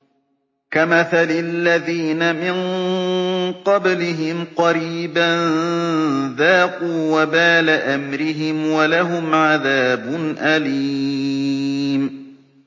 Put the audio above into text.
كَمَثَلِ الَّذِينَ مِن قَبْلِهِمْ قَرِيبًا ۖ ذَاقُوا وَبَالَ أَمْرِهِمْ وَلَهُمْ عَذَابٌ أَلِيمٌ